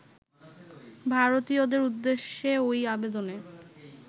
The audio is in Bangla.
ভারতীয়দের উদ্দেশ্যে ওই আবেদনে